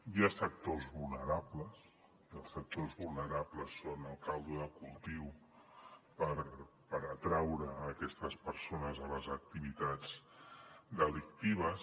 hi ha sectors vulnerables i els sectors vulnerables són el caldo de cultiu per atraure aquestes persones a les activitats delictives